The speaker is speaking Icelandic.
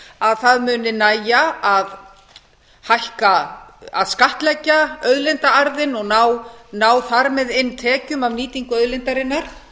að það muni nægja að skattleggja auðlindaarðinn og ná þar með inn tekjum af nýtingu auðlindarinnar